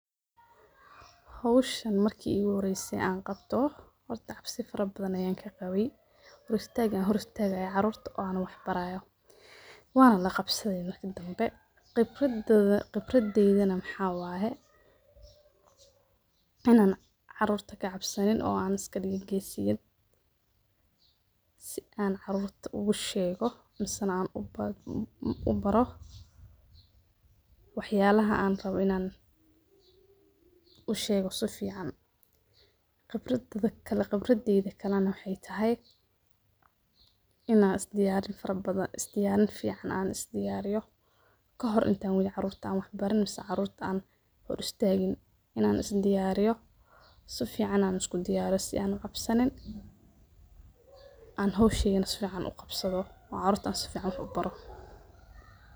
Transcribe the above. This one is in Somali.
Howshan marki iguhoreysi an qabto horta cabsi fara badhan ayan kaqabi hor istaga an istagayo carurta oo wax baraya wan laqabsadhi marka dambe khibrad teydana waxa waye inan carurta kacabsanin oo an iskadiga geesiyad si an carurta ugushego misana an ubaro wax yalaha an rabo inan ushega safican. Khibradeyda kalena waxay tahay inan isdiyariyo farabadhan isdiyarin fican an isdiyariyo kahor intan wadhin carurta an wax barin misena carurta an hor istagin inan isdiyariyo safican an iskudiyariyo is an ucabsanin an howsheni safican uqabsadho oo carurta an safican wax ubaro.